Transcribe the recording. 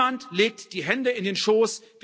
Niemand legt die Hände in den Schoß.